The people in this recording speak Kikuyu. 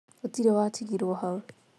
gutirin watigirwo hau